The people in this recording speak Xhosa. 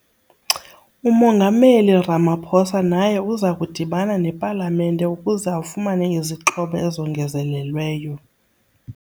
UMongameli Ramaphosa naye uza kudibana nePalamente ukuze afumane izixhobo ezongezelelweyo.